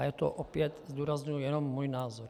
A je to opět, zdůrazňuji, jenom můj názor.